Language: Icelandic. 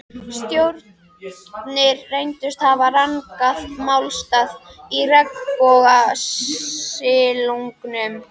Stjórarnir reyndust hafa rangan málstað í regnbogasilungnum.